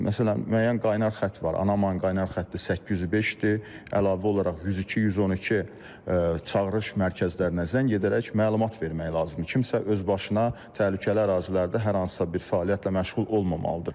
Məsələn, müəyyən qaynar xətt var, Anaman qaynar xətti 805-dir, əlavə olaraq 102, 112 çağırış mərkəzlərinə zəng edərək məlumat vermək lazımdır, kimsə öz başına təhlükəli ərazilərdə hər hansısa bir fəaliyyətlə məşğul olmamalıdır.